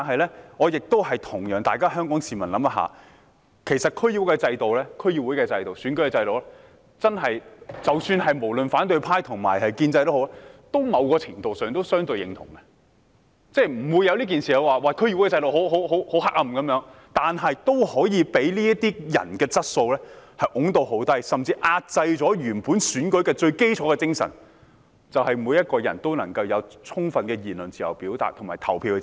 不過，我想與市民一起想想，其實對於區議會的選舉制度，無論反對派或建制派在某程度上都是相對認同的，也都不會說區議會制度很黑暗。然而，它也可以被這些人的質素推到很低，甚至壓制了原本選舉的最基礎精神，也就是每個人都能夠有充分的言論、表達和投票自由。